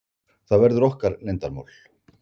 Það verður okkar leyndarmál.